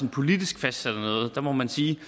politisk fastsætter noget der må man sige